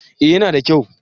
eh ya na da kyau